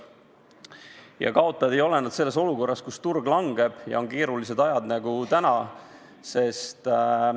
Ja kaotajad ei ole nad ka selles olukorras, kus turg langeb ja on keerulised ajad nagu praegu.